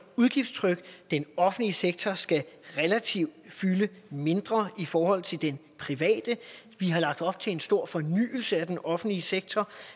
udgiftstryk den offentlige sektor skal relativt fylde mindre i forhold til den private vi har lagt op til en stor fornyelse af den offentlige sektor